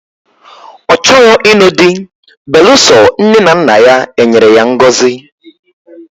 Ochoro inu di beluso nne na nna ya enyere ya ngozi.